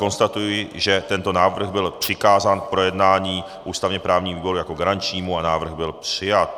Konstatuji, že tento návrh byl přikázán k projednání ústavně právnímu výboru jako garančnímu a návrh byl přijat.